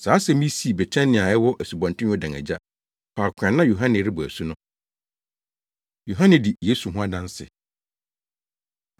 Saa asɛm yi sii Betania a ɛwɔ Asubɔnten Yordan agya, faako a na Yohane rebɔ asu no. Yohane Di Yesu Ho Adanse